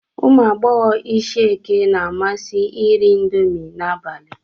Ụmụ agbọghọ Ishieke na-amasị iri indomi n'abalị.